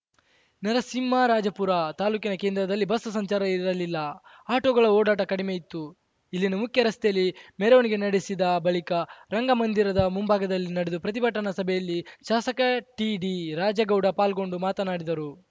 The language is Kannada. ನರಸಿಂಹರಾಜಪುರ ತಾಲೂಕಿನ ಕೇಂದ್ರದಲ್ಲಿ ಬಸ್‌ ಸಂಚಾರ ಇರಲಿಲ್ಲ ಆಟೋಗಳ ಓಡಾಟ ಕಡಿಮೆ ಇತ್ತು ಇಲ್ಲಿನ ಮುಖ್ಯ ರಸ್ತೆಯಲ್ಲಿ ಮೆರವಣಿಗೆ ನಡೆಸಿದ ಬಳಿಕ ರಂಗಮಂದಿರದ ಮುಂಭಾಗದಲ್ಲಿ ನಡೆದ ಪ್ರತಿಭಟನಾ ಸಭೆಯಲ್ಲಿ ಶಾಸಕ ಟಿಡಿ ರಾಜೇಗೌಡ ಪಾಲ್ಗೊಂಡು ಮಾತನಾಡಿದರು